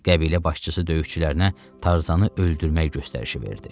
Qəbilə başçısı döyüşçülərinə Tarzanı öldürmək göstərişi verdi.